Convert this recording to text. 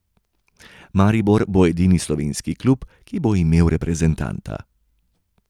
Maribor bo edini slovenski klub, ki bo imel reprezentanta.